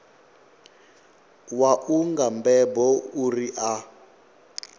wau nga mbebo uri a